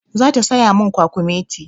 Zata saya min kwakumeti.